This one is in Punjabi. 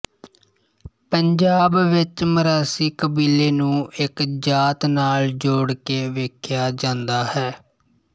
ਪੰਜਾਬ ਵਿੱਚ ਮਰਾਸੀ ਕਬੀਲੇ ਨੂੰ ਇਕ ਜਾਤ ਨਾਲ ਜੋੜ ਕੇ ਵੇਖਿਆ ਜਾਂਦਾ ਹੈ